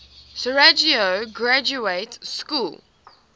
sarajevo graduate school